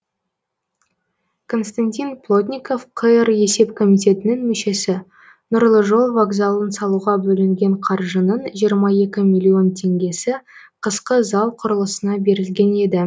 константин плотников қр есеп комитетінің мүшесі нұрлы жол вокзалын салуға бөлінген қаржының жиырма екі миллион теңгесі қысқы зал құрылысына берілген еді